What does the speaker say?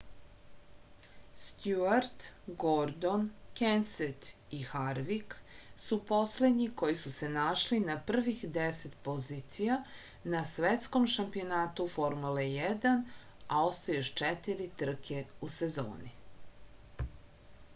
stjuart gordon kenset i harvik su poslednji koji su se našli na prvih deset pozicija na svetskom šampionatu formule 1 a ostaje još četiri trke u sezoni